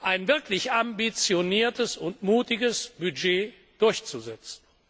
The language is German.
ein wirklich ambitioniertes und mutiges Budget durchzusetzen.